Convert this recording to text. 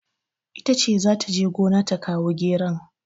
Ita ce za ta gona ta kawo geron.